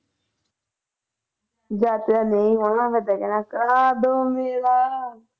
ਫਿਰ ਤੈਂ ਕਹਿਣਾ ਕਦੋਂ ਮਿਲਾਂ